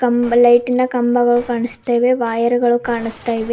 ಕಂ ಲೈಟಿ ನ ಕಂಬಗಳು ಕಾಣಿಸ್ತಾ ಇದೆ ವೈಯರ್ ಗಳು ಕಾಣಿಸ್ತಾ ಇವೆ.